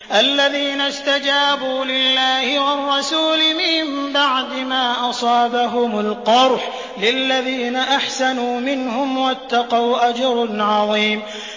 الَّذِينَ اسْتَجَابُوا لِلَّهِ وَالرَّسُولِ مِن بَعْدِ مَا أَصَابَهُمُ الْقَرْحُ ۚ لِلَّذِينَ أَحْسَنُوا مِنْهُمْ وَاتَّقَوْا أَجْرٌ عَظِيمٌ